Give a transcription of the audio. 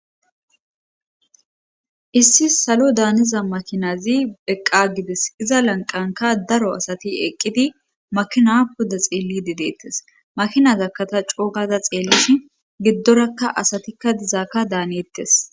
Issi salo daaniza makinazi eqqa gides iza lanqanka daro asati eqqidi makina pudda xeelli dedeettes makinaza kata coogaza xeellis giddorakka asatikka dizaaka daaneettes.